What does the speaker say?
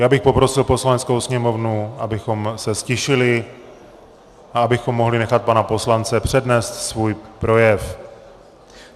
Já bych poprosil Poslaneckou sněmovnu, abychom se ztišili a abychom mohli nechat pana poslance přednést svůj projev.